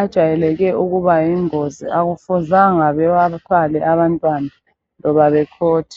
ajwayeleke ukuba yingozi akufuzanga bawathwale abantwana loba bekhothe